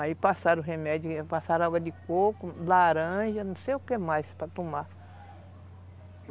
Aí passaram remédio, passaram água de coco, laranja, não sei o que mais para tomar.